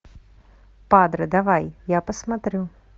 падре давай я посмотрю